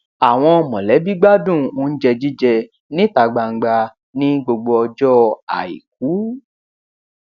àwọn mọlẹbí gbádùn oúnjẹ jíjẹ níta gbangba ní gbogbo ọjọ àìkú